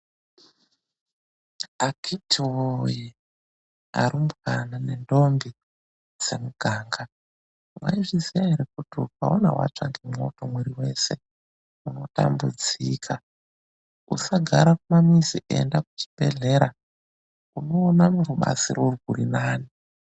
AKITI WOYE ARUMBWANA NENDOMBI DZEMUGANGA WAIZVIZIYA ERE KUTI UKAONAWATSVA NEMOTO MWIRI WOSE UNOTAMBUDZIKA USAGARA PAMUZI ENDA KUCHIBEHLERA UNOONA RUBATSIRO RWURINANE.